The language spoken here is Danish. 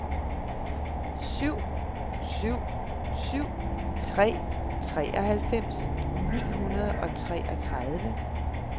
syv syv syv tre treoghalvfems ni hundrede og treogtredive